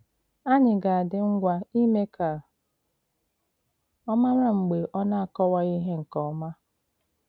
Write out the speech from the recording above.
Ànyị̀ ga-àdí ngwa ímé ka ọ màrà mg̀bè ọ na-akọwàghị ihé nke òma.